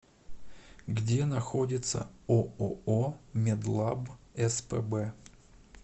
где находится ооо медлаб спб